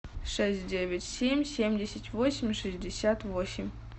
шесть девять семь семьдесят восемь шестьдесят восемь